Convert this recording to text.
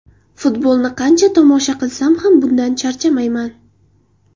Futbolni qancha tomosha qilsam ham bundan charchamayman.